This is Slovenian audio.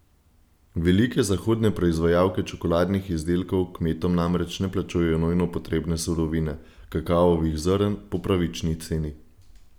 Velike zahodne proizvajalke čokoladnih izdelkov kmetom namreč ne plačujejo nujno potrebne surovine, kakavovih zrn, po pravični ceni.